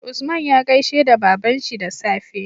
Usman ya gaishe da babanshi da safe